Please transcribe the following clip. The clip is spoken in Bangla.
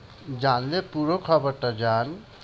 জানলে পুরো খবরটা জান।